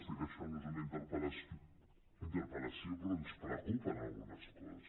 sé que això no és una interpel·lació però ens preocupen algunes coses